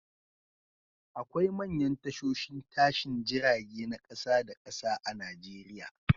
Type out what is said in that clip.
Akwai manyan tashoshin tashin jirage na kasa da kasa a Nijeriya